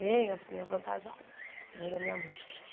Bem, assim, avantajada, a mãe da minha mãe.